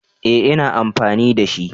Eh ina amfani da shi